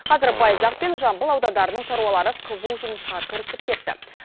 қазір байзақ пен жамбыл аудандарының шаруалары қызу жұмысқа кірісіп кетті